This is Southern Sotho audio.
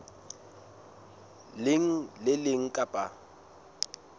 leng le le leng kapa